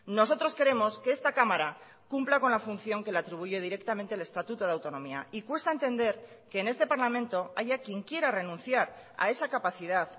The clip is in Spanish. nosotros queremos que esta cámara cumpla con la función que le atribuye directamente el estatuto de autonomía y cuesta entender que en este parlamento haya quien quiera renunciar a esa capacidad